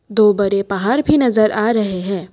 दो बड़े पहाड़ भी नजर आ रहे है।